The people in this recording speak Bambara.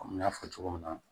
Komi n y'a fɔ cogo min na